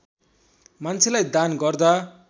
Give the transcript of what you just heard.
मान्छेलाई दान गर्दा